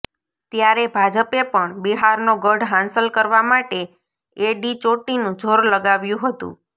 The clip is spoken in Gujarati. ત્યારે ભાજપે પણ બિહારનો ગઢ હાંસલ કરવા માટે એડીચોટીનું જોર લગાવ્યુ હતુ